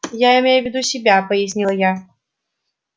я имею в виду себя пояснила я